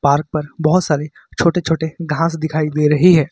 Park पर बहोत सारे छोटे छोटे घास दिखाई दे रही है।